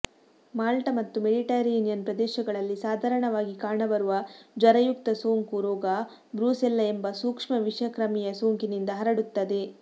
malt ಮತ್ತು Mediterranean ಪ್ರದೇಶಗಳಲ್ಲಿ ಸಾಧಾರಣವಾಗಿ ಕಾಣಬರುವ ಜ್ವರಯುಕ್ತ ಸೋಂಕು ರೋಗ ಬ್ರೂಸೆಲ್ಲ ಎಂಬ ಸೂಕ್ಷ್ಮ ವಿಷಕ್ರಮಿಯ ಸೋಂಕಿನಿಂದ ಹರಡುತ್ತದೆ